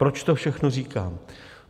Proč to všechno říkám?